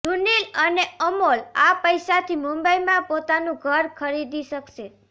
સુનિલ અને અમોલ આ પૈસાથી મુંબઈમાં પોતાનું ઘર ખરીદી શકશે